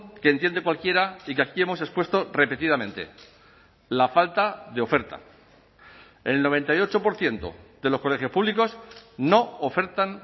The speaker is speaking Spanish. que entiende cualquiera y que aquí hemos expuesto repetidamente la falta de oferta el noventa y ocho por ciento de los colegios públicos no ofertan